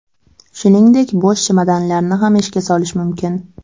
Shuningdek bo‘sh chemodanlarni ham ishga solish mumkin.